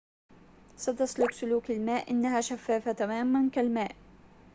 ستسلك سلوك الماء إنها شفافة تماماً كالماء